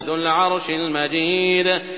ذُو الْعَرْشِ الْمَجِيدُ